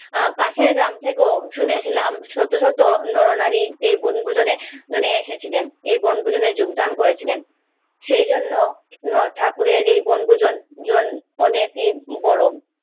আ পাশের গ্রাম থেকে শুনেছিলাম শতশত নরনারীর এই বনভোজনে নিয়ে এসেছিলেন এই বনভোজনে যোগদান করেছিলেন সে জন্য নয় ঠাকুরের এই বনভোজন জল অনেক বড়ো